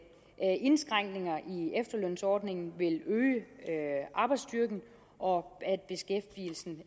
indskrænkninger i efterlønsordningen vil øge arbejdsstyrken og